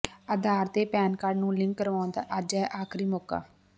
ਆਧਾਰ ਤੇ PAN card ਨੂੰ link ਕਰਾਉਣ ਦਾ ਅੱਜ ਹੈ ਆਖਰੀ ਮੌਕਾ